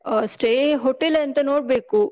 ಆಹ್, stay hotel ಎಂತ ನೋಡ್ಬೇಕು.